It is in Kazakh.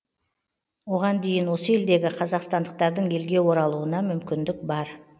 оған дейін осы елдегі қазақстандықтардың елге оралуына мүмкіндік бар